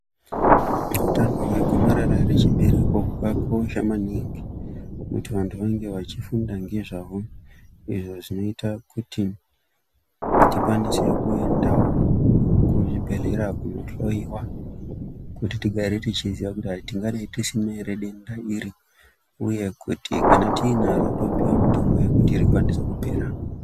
Hutano hwe gomarara re chibereko hwaka kosha maningi kuti vantu vange vachi funda nge zvahwo izvo zvinoita kuti tikwanise kuendawo ku zvibhedhleya kuno hloyiwa kuti tigare tichi ziya kuti tingadai tisina ere denda iri uye kuti kana tiinaro topiwa mutombo wekuti rikwanise kupera.